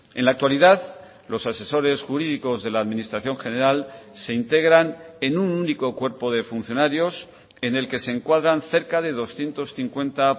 en la actualidad los asesores jurídicos de la administración general se integran en un único cuerpo de funcionarios en el que se encuadran cerca de doscientos cincuenta